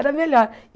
Era melhor.